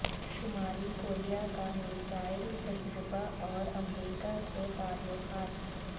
شمالی کوریا کا میزائل تجربہ اور امریکہ سے تعلقات